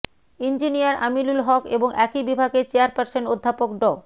engineer Aminul Haque এবং একই বিভাগের চেয়ারপারসন অধ্যাপক ড